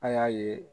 A y'a ye